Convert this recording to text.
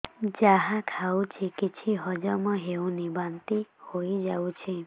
ଯାହା ଖାଉଛି କିଛି ହଜମ ହେଉନି ବାନ୍ତି ହୋଇଯାଉଛି